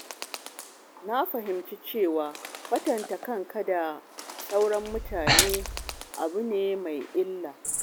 Na fahimci cewa kwatanta kanka da sauran mutane abu ne mai illa.